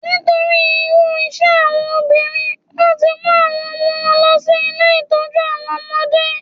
Nítorí irú iṣẹ́ àwọn obìnrin, wón ti ń mú àwọn ọmọ wọn lọ sí ilé Ìtọ́jú àwọn ọmọdé.